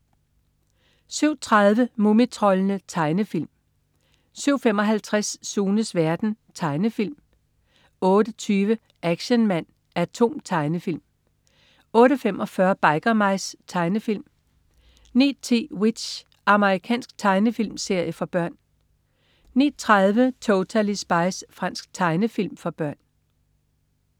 07.30 Mumitroldene. Tegnefilm 07.55 Sunes verden. Tegnefilm 08.20 Action Man A.T.O.M. Tegnefilm 08.45 Biker Mice. Tegnefilm 09.10 W.i.t.c.h. Amerikansk tegnefilmserie for børn 09.30 Totally Spies. Fransk tegnefilm for børn